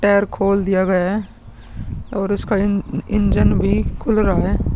Tyre खोल दिया गया है और इसका इंजन भी खुल रहा है।